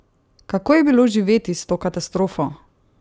Kako je bilo živeti s to katastrofo?